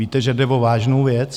Víte, že jde o vážnou věc?